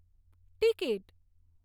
ticket